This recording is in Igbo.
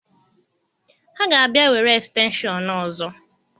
Ha ga-abịa were estenshọn ọzọ.